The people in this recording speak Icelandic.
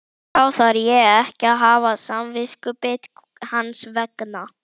Þá þarf ég ekki að hafa samviskubit hans vegna?